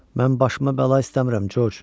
Mən başıma bəla istəmirəm, Corc.